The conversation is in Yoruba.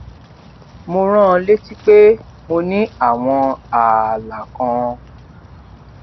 mo rán an létí pé mo ní àwọn ààlà kan